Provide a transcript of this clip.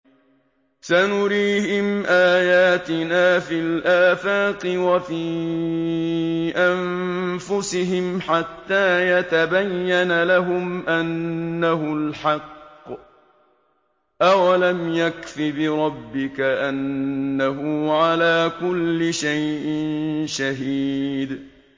سَنُرِيهِمْ آيَاتِنَا فِي الْآفَاقِ وَفِي أَنفُسِهِمْ حَتَّىٰ يَتَبَيَّنَ لَهُمْ أَنَّهُ الْحَقُّ ۗ أَوَلَمْ يَكْفِ بِرَبِّكَ أَنَّهُ عَلَىٰ كُلِّ شَيْءٍ شَهِيدٌ